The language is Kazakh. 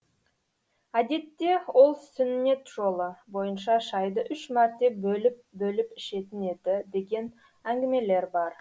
әдетте ол сүннет жолы бойынша шайды үш мәрте бөліп бөліп ішетін еді деген әңгімелер бар